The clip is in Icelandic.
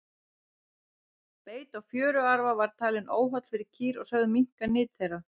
beit á fjöruarfa var talinn óholl fyrir kýr og sögð minnka nyt þeirra